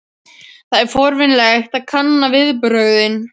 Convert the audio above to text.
Það er forvitnilegt að kanna viðbrögðin.